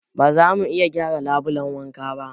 Ba zamu iya gyara labulen wankan ba